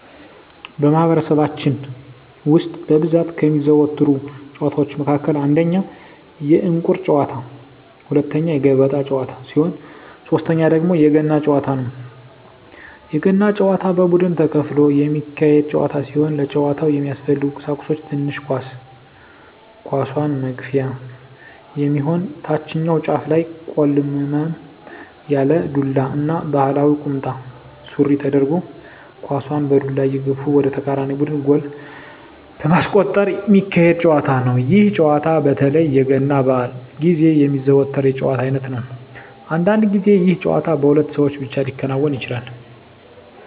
በማህበረሰባችን ውስጥ በብዛት ከሚዘወተሩ ጨዋታወች መካከል አንደኛ የእንቁር ጨዋታ፣ ሁለተኛ የገበጣ ጨዋታ ሲሆን ሶተኛው ደግሞ የገና ጨዋታ ነው። የገና ጨዋታ በቡድን ተከፍሎ የሚካሄድ ጨዋታ ሲሆን ለጨዋታው የሚያስፈልጉ ቀሳቁሶች ትንሽ ኳስ፣ ኳሷን መግፊያ የሚሆን ታችኛው ጫፉ ላይ ቆልመም ያለ ዱላ እና ባህላዊ ቁምጣ ሱሪ ተደርጎ ኳሳን በዱላ እየገፉ ወደ ተቃራኒ ቡድን ጎል በማስቆጠር ሚካሄድ ጨዋታ ነው። ይህ ጨዋታ በተለይ የገና በአል ግዜ የሚዘወተር የጨዋታ አይነት ነው። አንዳንድ ግዜ ይህ ጨዋታ በሁለት ሰው ብቻ ሊከናወን ይችላል።